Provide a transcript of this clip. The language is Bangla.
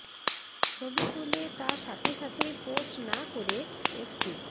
ছবি তুলে তা সাথে সাথেই পোস্ট না করে একটু